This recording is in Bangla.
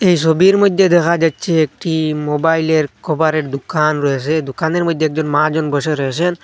এই ছবির মইদ্যে দেখা যাচ্ছে একটি মোবাইলের কভারের দুকান রয়েছে দুকানের মধ্যে একজন মাহাজন বসে রয়েছেন।